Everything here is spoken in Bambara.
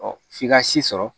f'i ka si sɔrɔ